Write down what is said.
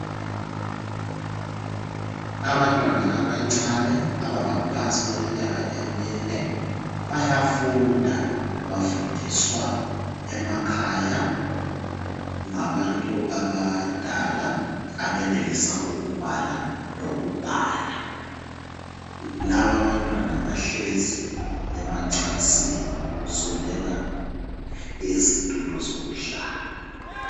Abantwana abancane abangaphansi kweminyaka emine bayafunda. Bafundiswa emakhaya ngabantu abadala abenelisa ukubala lokubhala. Laba abantwana bahlezi emacansini kusweleka izithulo zokuhlala.